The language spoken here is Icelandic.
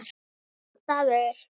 Vondur staður.